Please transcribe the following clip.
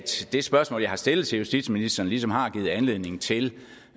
det spørgsmål jeg har stillet til justitsministeren ligesom har givet anledning til